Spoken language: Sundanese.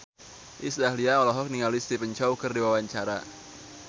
Iis Dahlia olohok ningali Stephen Chow keur diwawancara